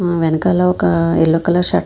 వెనకాల ఒక yellow colour shirt .